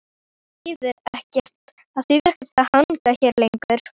Það þýðir ekkert að hanga hérna lengur.